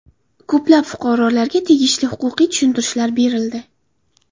Ko‘plab fuqarolarga tegishli huquqiy tushuntirishlar berildi.